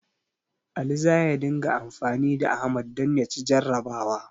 Ali za ya dinga anfani da Ahmad don ya ci jarrabawa.